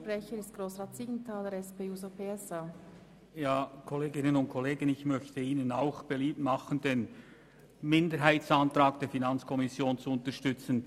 Auch ich mache Ihnen beliebt, den Minderheitsantrag der FiKo zu unterstützen.